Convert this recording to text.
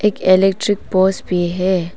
एक electric poles भी है।